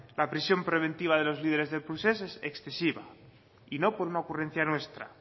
la prisión preventiva de los líderes del procés es excesiva y no por una ocurrencia nuestra